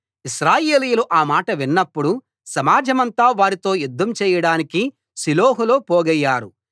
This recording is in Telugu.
ఇశ్రాయేలీయులు ఆ మాట విన్నప్పుడు సమాజమంతా వారితో యుధ్ధం చేయడానికి షిలోహులో పోగయ్యారు